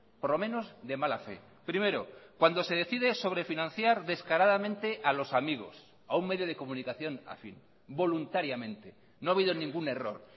por lo menos de mala fe primero cuando se decide sobre financiar descaradamente a los amigos a un medio de comunicación afín voluntariamente no ha habido ningún error